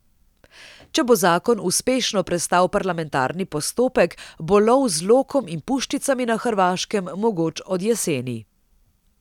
Če bo zakon uspešno prestal parlamentarni postopek, bo lov z lokom in puščicami na Hrvaškem mogoč od jeseni.